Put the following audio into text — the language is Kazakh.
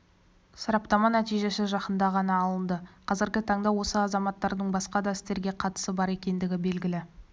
сараптама нәтижесі жақында ғана алынды қазіргі таңда осы азаматтардың басқа да істерге қатысы бар екендігі белгілі